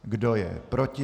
Kdo je proti?